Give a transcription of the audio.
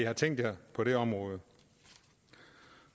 har tænkt sig på det område